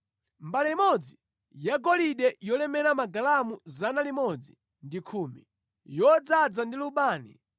mbale imodzi yagolide yolemera magalamu 110, yodzaza ndi lubani;